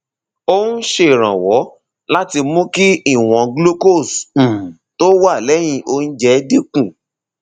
ó ń ṣèrànwọ láti mú kí ìwọn glucose um tó wà lẹyìn oúnjẹ dín kù